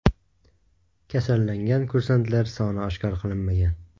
Kasallangan kursantlar soni oshkor qilinmagan.